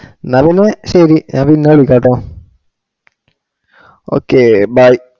ന്ന പിന്നെ ശെരി ഞാൻ പിന്നെ വിളിക്കാട്ടോ okay bye